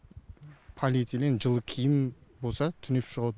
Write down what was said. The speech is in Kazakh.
полиэтелен жылы киім болса түнеп шығады